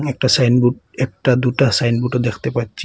একটা সাইনবোর্ড একটা দুটা সাইনবোর্ডও দেখতে পাচ্ছি।